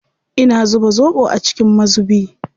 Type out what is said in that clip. Ina zuba zoɓo a cikin mazubi.